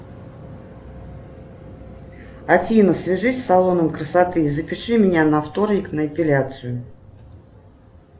афина свяжись с салоном красоты запиши меня на вторник на эпиляцию